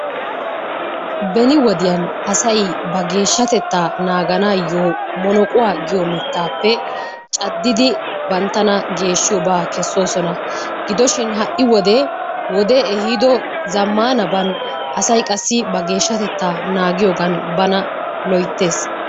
Beni wodiyan asay ba geeshshatettaa naaganaayyoo "monoquwaa" giyo mittaappe caddidi banttana geeshshiyoobaa kessoosona. Gidoshin ha"i wode wodee ehiido zammaanaban asay qassi ba geeshshatettaa naagiyoogan bana loyttes.